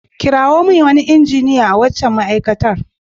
Kirawo min wani injiniya a waccan ma'aikatar.